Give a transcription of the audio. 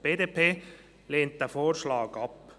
Die BDP lehnt diesen Vorschlag ab.